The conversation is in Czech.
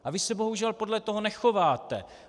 A vy se bohužel podle toho nechováte.